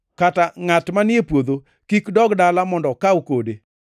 Kata ngʼat manie puodho kik dog dala mondo okaw kode.